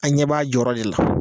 An ɲɛ b'a jɔyɔrɔ de la